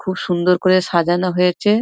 খুব সুন্দর করে সাজানো হয়েছে ।